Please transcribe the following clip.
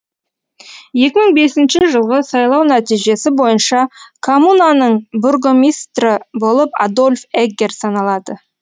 екі мың бесінші жылғы сайлау нәтижесі бойынша коммунаның бургомистрі болып адольф эггер саналады